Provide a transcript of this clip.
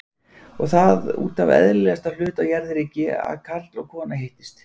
Og það útaf eðlilegasta hlut á jarðríki- að karl og kona hittist!